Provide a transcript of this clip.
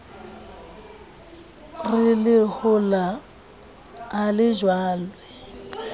re lehola ha le jalwe